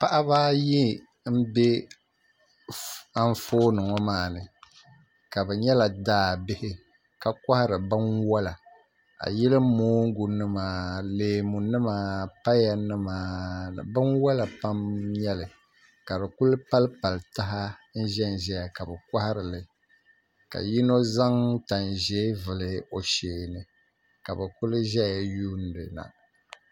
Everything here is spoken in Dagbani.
Paɣaba ayi n bɛ Anfooni ŋo maa ni ka bi nyɛla daa bihi kohari binwola ayili mongu nima leemu nima paya nima binwola pam n nyɛli ka di kuli palipali taha n ʒɛnʒɛya ka bi koharili ka yino zaŋ tanʒiɛ n vuli o sheeni ka bi kuli ʒɛya n yuundi na